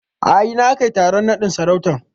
A ina aka yi taron naɗin sarautan?